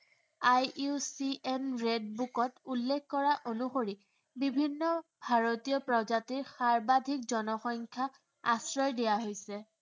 IUCN red book ত উল্লেখ কৰা অনুসৰি, বিভিন্ন ভাৰতীয় প্ৰজাতিৰ সাৰ্বাধিক জনসংখ্য়া আশ্ৰয় দিয়া হৈছে।